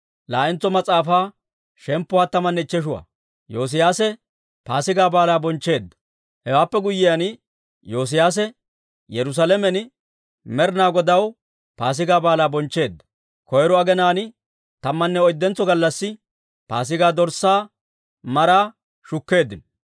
Hewaappe guyyiyaan, Yoosiyaase Yerusaalamen Med'inaa Godaw Paasigaa Baalaa bonchcheedda. Koyro aginaan tammanne oyddentso gallassi Paasigaa dorssaa maraa shukkeeddino.